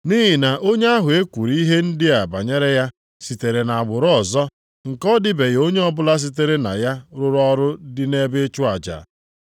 Nʼihi na onye ahụ e kwuru ihe ndị a banyere ya sitere nʼagbụrụ ọzọ, nke ọ dịbeghị onye ọbụla sitere na ya rụrụ ọrụ dị nʼebe ịchụ aja.